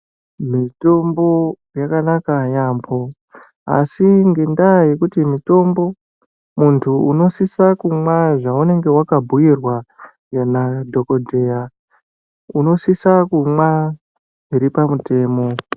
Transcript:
Mitombo yakanaka yaamho, asi ngendaa yekuti mitombo muntu unosisa kumwa zveunenge wakabhuyirwa nadhokodheya unosisa kumwa zviri pamutemo.